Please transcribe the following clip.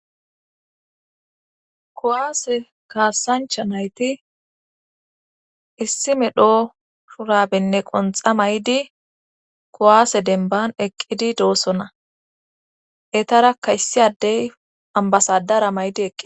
kowaase kaassancha nayti issi medho shurabenne qonxa may7di kowaase denban eqqidi doosona etara kayssi addey ambasadara maydi eqqi